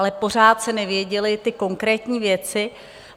Ale pořád se nevěděly ty konkrétní věci.